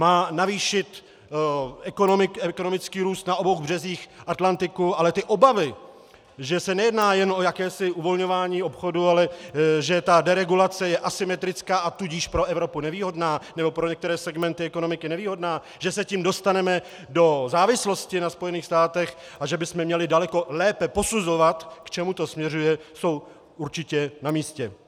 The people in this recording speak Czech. Má navýšit ekonomický růst na obou březích Atlantiku, ale ty obavy, že se nejedná jen o jakési uvolňování obchodu, ale že ta deregulace je asymetrická, a tudíž pro Evropu nevýhodná, nebo pro některé segmenty ekonomiky nevýhodná, že se tím dostaneme do závislosti na Spojených státech a že bychom měli daleko lépe posuzovat, k čemu to směřuje, jsou určitě na místě.